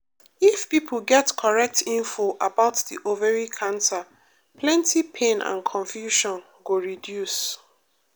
if pipo get correct info about the ovary cancer plenty pain and confusion go reduce.